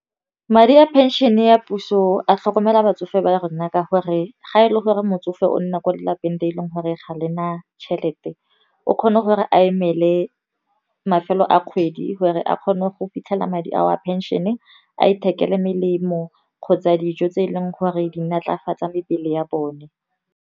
Madi a pension ya puso, a tlhokomela batsofe ba rona ka gore, ga e le gore motsofe o nna kwa lapeng le e leng gore ga lena tšhelete. O kgona gore a emele mafelo a kgwedi gore a kgone go fitlhela madi a pension-e, a ithekele melemo kgotsa dijo tse e leng gore di nne natlafatsa mebele ya bone.